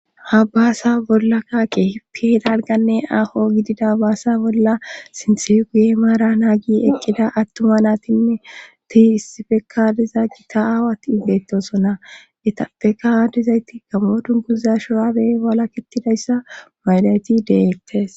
Ha baasa bollaka keehipiedaalganne aho gidida baasa bolla sinthefi guye maara naagi eqqida attuma naatinne tihi issifekadiza gita aawat ibeettosonna etappeka aadizayti gamootun guza shuraabe bala kittidayssa maylayti deettes